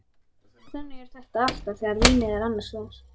Þannig er þetta alltaf þegar vínið er annars vegar.